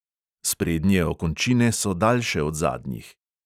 Sprednje okončine so daljše od zadnjih.